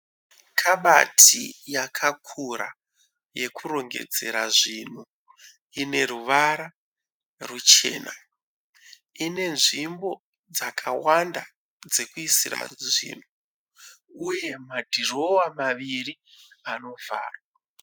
Kabati yakakura yekurongedzera zvinhu. Ine ruvara ruchena. Ine nzvimbo dzakawanda dzekuisira zvinhu uye madhirowa maviri anovharwa.